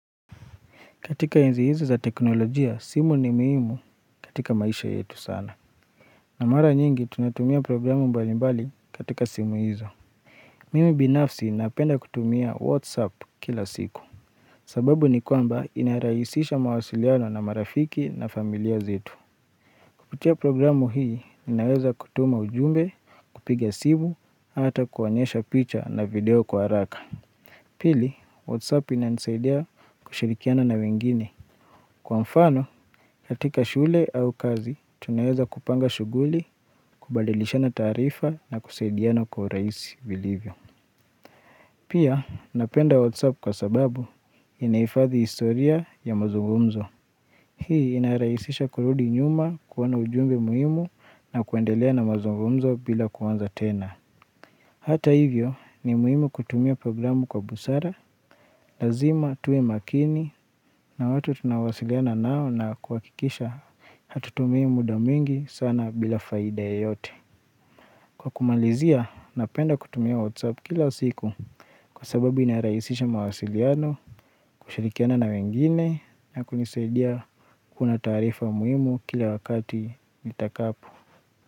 Katika enzi hizo za teknolojia, simu ni muhmu katika maisha yetu sana. Na mara nyingi, tunatumia programu mbalimbali katika simu hizo. Mimi binafsi napenda kutumia WhatsApp kila siku. Sababu ni kwamba inarahisisha mawasiliano na marafiki na familia zetu. Kupitia programu hii, ninaweza kutuma ujumbe, kupiga simu, ata kuonyesha picha na video kwa haraka. Pili, WhatsApp inanisaidia kushirikiana na wengine. Kwa mfano, katika shule au kazi, tunaweza kupanga shughuli, kubadilishana taarifa na kusaidiana kwa urahisi vilivyo. Pia, napenda WhatsApp kwa sababu, inahifadhi historia ya mazungumzo Hii inarahisisha kurudi nyuma kuona ujumbe muhimu na kuendelea na mazungumzo bila kuanza tena. Hata hivyo ni muhimu kutumia programu kwa busara, lazima tuwe makini na watu tunawasiliana nao na kuhakikisha hatutumii muda mwingi sana bila faida yeyote. Kwa kumalizia, napenda kutumia WhatsApp kila siku kwa sababu inarahisisha mawasiliano, kushirikiana na wengine na kunisaidia kuona taarifa muhimu kila wakati nitakapo.